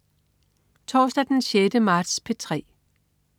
Torsdag den 6. marts - P3: